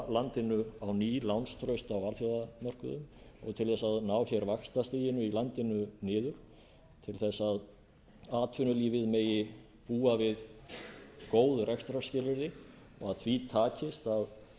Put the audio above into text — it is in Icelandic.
landinu á ný lánstraust á alþjóðamörkuðum til að ná vaxtastiginu í landinu niður til að atvinnulífið megi búa við góð rekstrarskilyrði og að því takist að